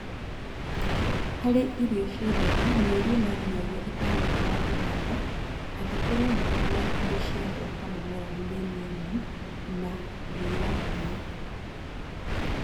harĩ irio cia ũtheri mĩeri ĩna nyinyagia ĩtano thutha wa kũhanda angĩkorwo mbura na indo cia gwaka mũmera nĩ nini na nĩiranyiha